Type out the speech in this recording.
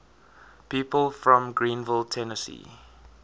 people from greeneville tennessee